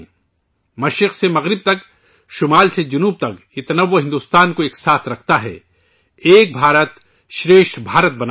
مشرق سے مغرب تک، شمال سے جنوب تک، یہ تنوع بھارت کو متحد رکھتے ہے، جو ایک بھارت شریشٹھ بھارت بناتا ہے